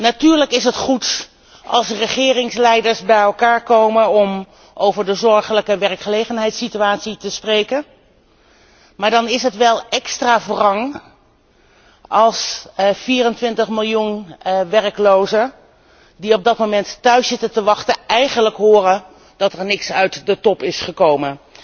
Natuurlijk is het goed als regeringsleiders bij elkaar komen om over de zorgelijke werkgelegenheidssituatie te spreken, maar dan is het wel extra wrang als de 24 miljoen werklozen die op dat moment thuis zitten te wachten, eigenlijk horen dat er niets uit de top gekomen